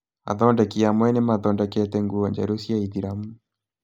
Athondeki amwe nĩmathondekete nguo njerũ cia aithĩramu